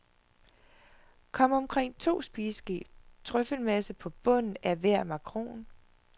Kom omkring to spiseske trøffelmasse på bunden af hver makron.